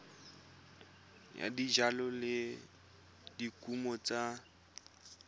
ya dijalo le dikumo tsa